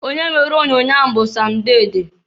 Onye mere onyoonyoo ahụ bụ Sam Dede.